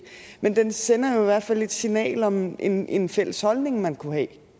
men den sender jo i hvert fald et signal om en en fælles holdning man kunne